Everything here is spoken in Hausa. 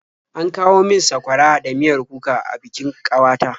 An kawo min sakwara da miyar kuka a bikin ƙawata.